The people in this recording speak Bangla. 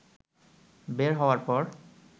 বের হওয়ার পর